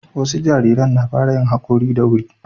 wasu jarirn na fara yin hakori da wuri